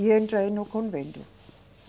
E entrei no convento.